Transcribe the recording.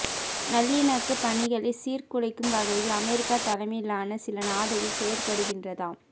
நல்லிணக்கப் பணிகளை சீர்குலைக்கும் வகையில் அமெரிக்க தலைமையிலான சில நாடுகள் செயற்படுகின்றதாம்